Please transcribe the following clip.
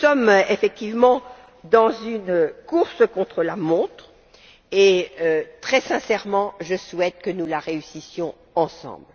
Nous sommes effectivement dans une course contre la montre et, très sincèrement, je souhaite que nous la gagnions ensemble.